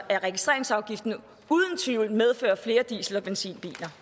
af registreringsafgiften uden tvivl medført flere diesel og benzinbiler